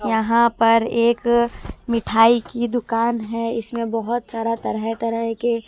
यहाँ पर एक मिठाई की दुकान है इसमें बहुत सारा तरह तरह के--